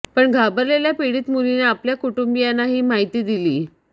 पण घाबरलेल्या पीडित मुलीने आपल्या कुटुंबीयांना ही माहिती दिली